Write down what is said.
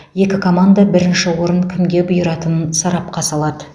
екі команда бірінші орын кімге бұйыратынын сарапқа салады